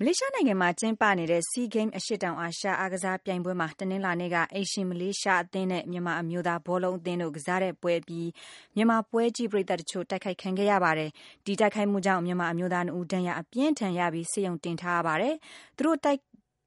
မလေးရှားနိုင်ငံမှာ ကျင်းပနေတဲ့ SEA Games အရှေ့တောင်အာရှ အားကစားပြိုင်ပွဲမှာ တနင်္လာနေ့က အိမ်ရှင်မလေးရှား အသင်းနဲ့မြန်မာ အမျိုးသား ဘောလုံးအသင်းတို့ ကစားခဲ့တဲ့ပွဲ အပြီး မြန်မာပွဲကြည့် ပရိသတ်တချို့ တိုက်ခိုက်ခံခဲ့ ရပါတယ်။ ဒီတိုက်ခိုက်မှုကြောင့် မြန်မာအမျိုးသား၂ ဦး ဒဏ်ရာအပြင်းအထန် ရပြီး ဆေးရုံ တင်ထားရပါတယ်။ သူတို့ကို တိုက်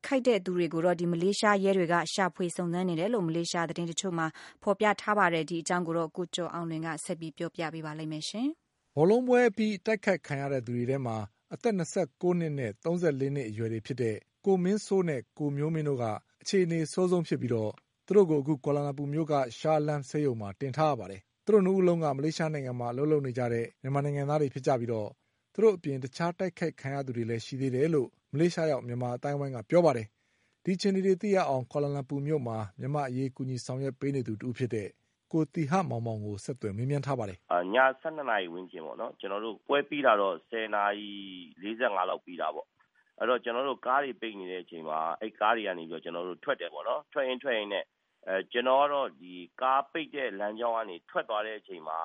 ခိုက်ခဲ့ သူတွေကို မလေးရှား ရဲတွေက ရှာဖွေစုံစမ်းနေတယ်လို့ မလေးရှား သတင်းတချို့မှာ ဖေါ်ပြထားပါတယ်။ ဒီအကြောင်း ကိုကျော်အောင်လွင်က ဆက်ပြီး ပြောပါလိမ့်မယ်။ ဘောလုံးပွဲအပြီး အတိုက်အခိုက် ခံခဲ့ရတဲ့ သူတွေထဲမှာ အသက်၂၉ နှစ်နဲ့ ၃၄ နှစ် အရွယ်တွေဖြစ်တဲ့ ကိုမင်းစိုးနဲ့ ကိုမျိုးမင်းတို့က အခြေအနေ အဆိုးဆုံး ဖြစ်ပြီး သူတို့ကို ကွာလာလမ်ပူမြို့က ရှာအလမ်း ဆေးရုံမှာ တင်ထားရပါတယ်။ သူတို့ ၂ ဦး လုံးက မလေးရှားနိုင်ငံမှာ အလုပ်လုပ်နေကြတဲ့ မြန်မာနိုင်ငံသားတွေ ဖြစ်ကြပြီး သူတို့အပြင် တခြား တိုက်ခိုက်ခံရသူတွေလည်း ရှိသေးတယ်လို့ မလေးရှားရောက် မြန်မာ အသိုင်းအဝိုင်းက ပြောပါတယ်။ အခြေအနေတွေ သိရအောင် ကွာလာလမ်ပူမြို့မှာ မြန်မာ့အရေး ကူညီဆောင်ရွက်ပေးနေသူ တဦးဖြစ်တဲ့ ကိုသီဟမောင်မောင်ကို ဆက်သွယ်မေးမြန်းထားပါတယ်။ ည ၁၂ နာရီ ဝန်းကျင်ပေါ့နော်။ ကျနော်တို့ ပွဲပြီး တာတော့ ၁၀ နာရီ ၄၅ လောက်မှာ ပြီးတာပေါ့။ အဲတော့ ကျနော်တို့ ကားတွေပိတ်နေတဲ့ အချိန်မှာ ကားတွေကတော့ ကျနော်တို့ ထွက်တယ်ပေါ့နော်။ ထွက်ရင်း ထွက်ရင်းနဲ့ ကျနော်ကတော့ ကားပိတ်တဲ့ လမ်းကြောင်းကနေ ထွက်သွားတဲ့အချိန်မှာ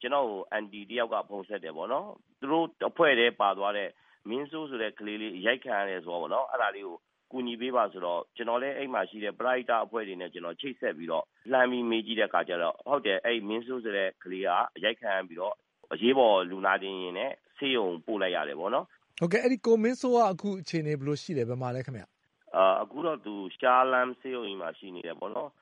ကျနော့ကို အန်တီ တယောက်က ဖုန်းဆက်တယ်ပေါ့နော်။ သူတို့အဖွဲ့ထဲပါသွားတဲ့ မင်းစိုးဆိုတဲ့ ကလေးလေး အရိုက်ခံရတယ် ဆိုတာပေါ့။ အဲဒါကို အကူညီပေးပါဆိုတော့ ကျနော်လည်း အဲဒီမှာရှိတဲ့ ပရဟိတ အဖွဲ့တွေနဲ့ ကျနော် ချိတ်ဆက်ပြီးတော့ လှမ်းပြီး မေးကြည့်တဲ့ အခါကြတော့ ဟုတ်တယ် အဲဒီ မင်းစိုးဆိုတဲ့ ကလေးက အရိုက်ခံရပြီးတော့ အရေးပေါ်လူနာတင်ယာဉ်နဲ့ ဆေးရုံကို ပို့လိုက်ရတယ်ပေါ့နော်။ ဟုတ်ကဲ့ အဲဒီ ကိုမင်းစိုး အခုအခြေအနေဘယ်လိုရှိလည်း၊ အခုဘယ်မှာလည်းခင်ဗျ။ အခုတော့သူ ရှားလဟမ်း ဆေးရုံကြီးမှာ ရှိနေတယ်ပေါ့နော်။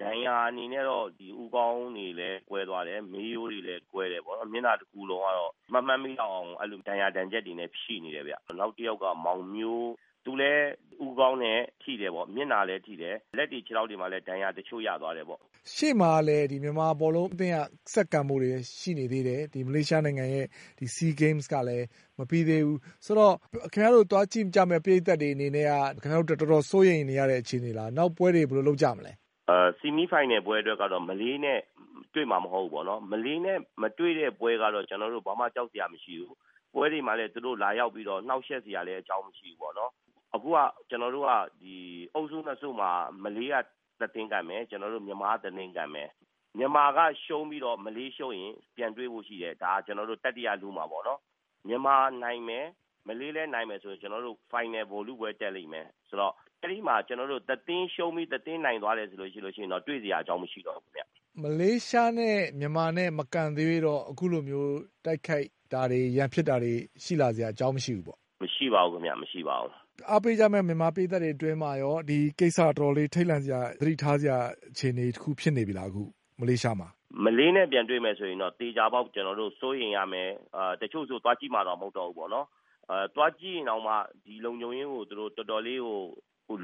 ဒဏ်ရာအနေနဲ့တော့ ဦးခေါင်းတွေလည်း ကွဲသွားတယ်၊ မေးရိုးတွေလည်း ကွဲတယ်ပေါ့နော်။ မျက်နှာတခုလုံးကတော့ မမှတ်မိလောက်အောင် အဲလို ဒဏ်ရာဒဏ်ချက်တွေနဲ့ ရှိနေတယ်ဗျ။ နောက်တယောက်က မောင်မျိုး သူလည်း ဦးခေါင်းလည်း ထိတယ်ပေါ့။ မျက်နှာလည်းထိတယ် လက်တွေ ခြေထောက်တွေမှာလည်း ဒဏ်ရာတချို့ရသွားတယ်ပေါ့။ ရှေ့မှာလည်း မြန်မာဘောလုံး အသင်းက ဆက်ကန်ဖို့တွေလည်း ရှိနေသေးတယ်။ မလေးရှားနိုင်ငံရဲ့ဒီ SEA Games ကလည်း မပြီးသေးဘူး ဆိုတော့ ခင်ဗျားတို့ သွားကြည့်ကြမယ့် ပရိသတ်တွေအနေနဲ့က တော်တော်စိုးရိမ်နေရတဲ့ အခြေအနေလား နောက်ပွဲတွေ ဘယ်လိုလုပ်ကြမလဲ။ ဆီမီးဖိုင်နယ်ပွဲ အတွက်ကတော့ မလေးနဲ့ တွေ့မှာ မဟုတ်ဘူးပေါ့နော်။ မလေးနဲ့ မတွေ့တဲ့ ပွဲကတော့ ကျနော်တို့ ဘာမှ ကြောက်စရာမရှိဘူး။ ပွဲတွေမှာလည်း သူတို့လာရောက်ပြီး နှောက်ယှက်စရာ အကြောင်းမရှိဘူးပေါ့နော်။ အခုက ကျနော်တို့ကဒီ အုပ်စု ၂ စုမှာ မလေးက တသင်းကန်မယ်။ ကျနော်တို့ မြန်မာက တသင်းကန်မယ်။ မြန်မာက ရှုံးပြီး မလေးရှုံးရင် ပြန်တွေ့ဖို့ရှိတယ်။ ကျနော်တို့ တတိယ လု မှာပေါ့နော်။ မြန်မာနိုင်မယ်။ မလေးလည်း နိုင်မယ်ဆိုရင် ကျနော်တို့ ဖိုင်နယ် ဗိုလ်လုပွဲ တက်လိမ့်မယ်။ ဆိုတော့ အဲဒီမှာ ကျနော်တို့ တသင်းရှုံးပြီး တသင်းနိုင်သွားမယ် ဆိုလို့ရှိရင်တော့ တွေ့စရာ အကြောင်းမရှိတော့ဘူး။ မလေးရှားနဲ့ မြန်မာနဲ့ မကန်သရွေ့တော့ အခုလိုမျိုး တိုက်ခိုက်တာတွေ ရန်ဖြစ်တာတွေ ရှိလာစရာ အကြောင်းမရှိဘူးပေါ့။ မရှိပါဘူးခင်ဗျ။ မရှိပါဘူး။ အားပေးကြတဲ့ မြန်မာ ပရိသတ်အတွင်းမှာကော ဒီကိစ္စက တော်တော ်ထိတ်လန့်စရာ သတိထားစရာ အခြေအနေတခု ဖြစ်နေပြီလား အခု မလေးရှားမှာ။ မလေးနဲ့ပြန်တွေ့ မယ် ဆိုရင်တော့ သေချာပေါက် စိုးရိမ်ရမယ်။ တချို့ဆို သွားကြည့်မှာတောင် မဟုတ်တော့ဘူး ပေါ့နော်။ သွားကြည့်ရင်တောင်မှ ဒီလုံခြုံရေးကို တော်တော်လေးကို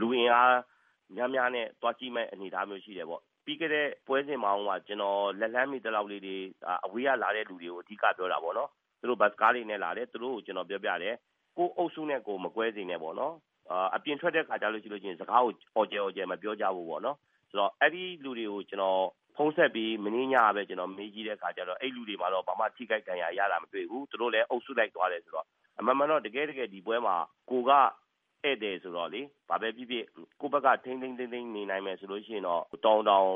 လူအင်အားများများနဲ့ သွားကြည့်မဲ့ အနေအထားမျိုး ရှိတယ်ပေါ့။ ပြီးခဲ့တဲ့ ပွဲစဉ်မှာတုံးက ကျနော် လက်လှမ်းမီ သလောက်လေးတွေ အဝေးကလာတဲ့ လူတွေကို အဓိကပြောတာပေါ့နော်။ သူတို့ ဘတ်စ်ကားတွေနဲ့လာတယ်။ သူတို့ကို ကျနော်ပြောပြတယ် ကိုယ့်အုပ်စုနဲ့ကိုယ် မကွဲစေနဲ့ပေါ့နော်။ အပြင်ထွက်တဲ့ အခါ ဆိုလို့ရှိရင် စကားကို အော်ကျယ်အော်ကျယ် မပြောကြဖို့ပေါ့နော်။ ဆိုတော့ အဲဒီလူတွေကို ကျနော်ဖုန်းဆက်ပြီး မနေ့ညကပဲ ကျနော ်မေးကြည့်တဲ့ အခါမှာတော့ အဲဒီလူတွေ ဘာမှ ထိခိုက်ဒဏ်ရာရတာ မတွေ့ဘူး။ သူတို့လည်း အုပ်စုလိုက် သွားတယ်ဆိုတော့ အမှန်မှာတော့ တကယ့်တကယ် ဒီပွဲမှာ ကိုယ်က ဧည့်သည်ဆိုတော့လေ။ ဘာပဲဖြစ်ဖြစ် ကိုယ့်ဘက်က ထိန်းထိန်းသိမ်းသိမ်း နေနိုင်မယ်ဆိုလို့ရှိရင် တော်ရုံတန်ရုံ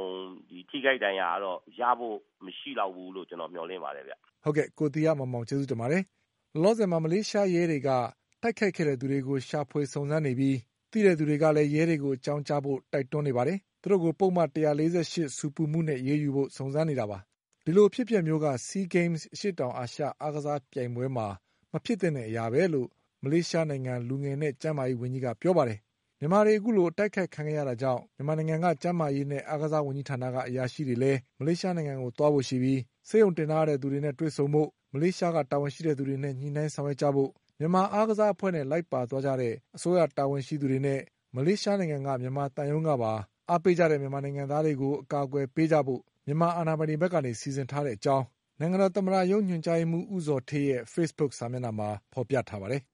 ထိခိုက်ဒဏ်ရာ ကတော့ ရဖို့ မရှိလောက်ဘူးလို့ ကျနော် မျှော်လင့်ပါတယ်ဗျ။ ဟုတ်ကဲ့ ကိုသီဟမောင်မောင် ကျေးဇူးတင်ပါတယ်။ ကိုသီဟမောင်မောင်ပါ။ မလေးရှားရဲတွေက လောလောဆယ် တိုက်ခိုက်ခဲ့တဲ့သူတွေကို ရှာဖွေစုံစမ်းနေပြီး သိတဲ့သူတွေ ရဲကို အကြောင်းကြားဖို့ကိုလည်း တိုက်တွန်းနေပါတယ်။ သူတို့ကို ပုဒ်မ ၁၄၈ ဆူပူမှုနဲ့ စုံစမ်းနေတာပါ။ ဒီလို အဖြစ်အပျက်မျိုးက SEA Games အရှေ့တောင်အာရှ အားကစားပြိုင်ပွဲမှာ မဖြစ်သင့်တဲ့ အရာပဲလို့မလေးရှားနိုင်ငံ လူငယ်နဲ့ ကျန်းမာရေး ဝန်ကြီးက ပြောပါတယ်။ မြန်မာတွေ အခုလို အတိုက်အခိုက် ခံခဲ့ရတာကြောင့် မြန်မာနိုင်ငံက ကျန်းမာ ရေးနဲ့ အားကစား ဝန်ကြီးဌာနက အရာရှိတွေလည်း မလေးရှားကို သွားဖို့ရှိပြီး ဆေးရုံတင်ထားရတဲ့ သူတွေနဲ့ တွေ့ကြဖို့မလေးရှား တာဝန်ရှိသူတွေနဲ့လည်း ညှိနှိုင်း ဆောင်ရွက်ကြဖို့မြန်မာအားကစားအဖွဲ့နဲ့ လိုက်ပါသွားတဲ့ အစိုးရတာဝန်ရှိသူတွေနဲ့ မလေးရှားက မြန်မာသံရုံးကပါ အားပေးကြတ ဲ့မြန်မာနိုင်ငံသားတွေကို အကာအကွယ်ပေးကြဖို့မြန်မာအာဏာပိုင် တွေဘက်က စီစဉ်ထားတဲ့ အကြောင်း နိုင်ငံတော် သမ္မတရုံး ညွန်ကြားရေးမှုး ဦးဇော်ဌေးရဲ့ဖေ့စ်ဘုခ် စာမျက်နှာမှာ ဖေါ်ပြ ထားပါတယ်။